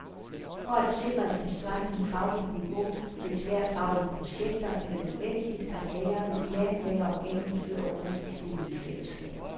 For at sikre et tilstrækkeligt fagligt niveau ved tværfaglige projekter, er det nødvendigt, at lærerne planlægger og gennemfører undervisningen i fællesskab.